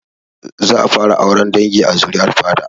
Za a fara auren dangi a zuri'ar fada